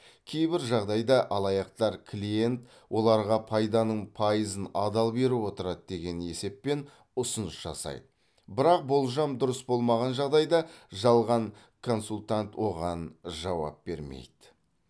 кейбір жағдайда алаяқтар клиент оларға пайданың пайызын адал беріп отырады деген есеппен ұсыныс жасайды бірақ болжам дұрыс болмаған жағдайда жалған консультант оған жауап бермейді